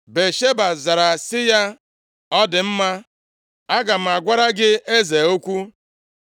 Batsheba zara sị ya, “Ọ dị mma, aga m agwara gị eze okwu.”